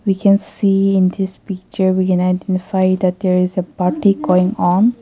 We can see in this picture we can identify that there is a party going on.